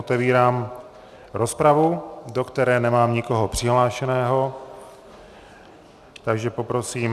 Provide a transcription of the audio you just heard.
Otevírám rozpravu, do které nemám nikoho přihlášeného, takže poprosím...